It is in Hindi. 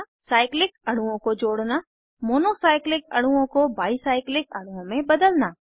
साइक्लिक अणुओं को जोड़ना मोनो साइक्लिक अणुओं को बाई साइक्लिक अणुओं में बदलना